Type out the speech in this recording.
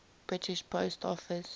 british post office